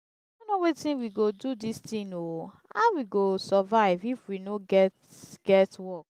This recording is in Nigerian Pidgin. i no know wetin we go do dis thing oo. how we go survive if we no get get work?